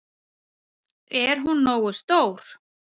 Er hún nógu stór?